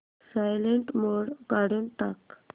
silent mode काढून टाक